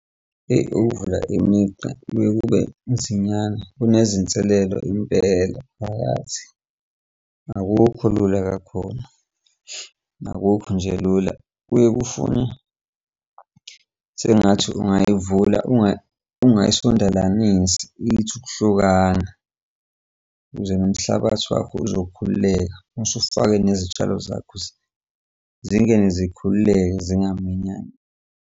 Ukuvula imigqa kuyaye kube nzinyana, kunezinselelo impela phakathi akukho lula kakhulu, akukho nje lula. Kuye kufune sengathi ungayivula ungayisondalaninsi ithi ukuhlukana ukuze nomhlabathi wakho uzokhululeka usufake nezitshalo zakho zingene zikhululekile zingaminyani.